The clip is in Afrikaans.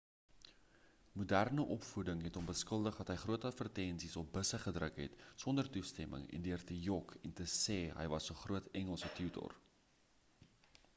moderne opvoeding het hom beskuldig dat hy groot advertensies op busse gedruk het sonder toestemming en deur te jok en te sê hy was die hoof engelse tutor